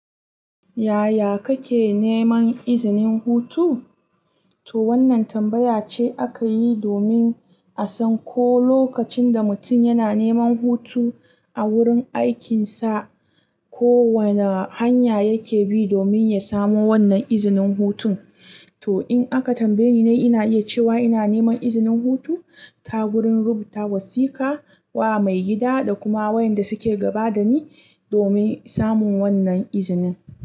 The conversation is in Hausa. Yaya kake neman izinin hutu? To wannan tambaya ce aka yi domin a san ko lokacin da mutum yana neman hutu a wurin aikinsa, ko wane hanya yake bi domin ya samu wannan izinin hutun. To, in aka tambaye ni, ina iya cewa ina neman izinin hutu ta wurin rubuta wasika wa maigida da kuma wayanda suke gaba da ni domin samun wannan izinin.